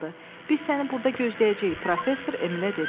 Biz səni burda gözləyəcəyik, professor Emilə dedi.